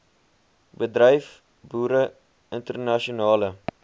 bedryf boere internasionale